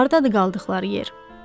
Hardadır qaldıqları yer?